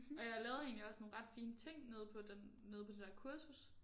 Og jeg lavede egentlig også nogle ret fine ting nede på den nede på det der kursus